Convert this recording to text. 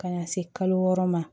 Ka na se kalo wɔɔrɔ ma